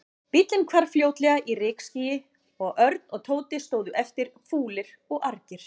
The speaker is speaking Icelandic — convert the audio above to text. Bíllinn hvarf fljótlega í rykskýi og Örn og Tóti stóðu eftir, fúlir og argir.